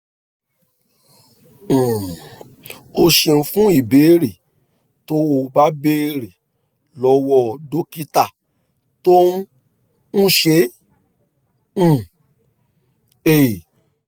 um o ṣeun fún ìbéèrè tó o bá béèrè lọ́wọ́ dókítà tó ń ń ṣe um é